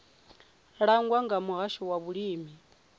langwa nga muhasho wa vhulimi